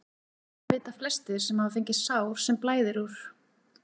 Þetta vita flestir sem hafa fengið sár sem blæðir úr.